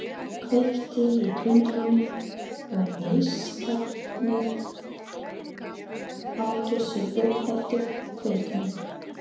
Kveikti í tundrinu og neistarnir átu sig upp eftir kveiknum.